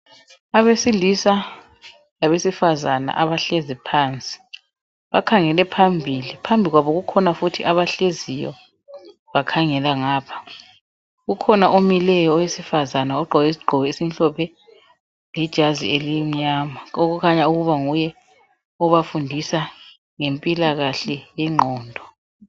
Abesilisa labesifazana abahlezi phansi bakhangele phambili, phambi kwabo kukhona futhi abahleziyo bakhangela ngapha ukhona omileyo owesifazana ogqoke isigqoko esimhlophe lejazi elimnyama okukhanya ukuba nguye obafundisa ngempilakahle yengqondo.